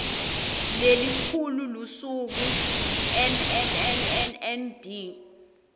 lelikhulu lusuku nnnnnnnnd